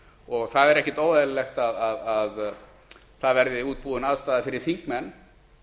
og það er ekkert óeðlilegt að það verði útbúin aðstaða fyrir þingmenn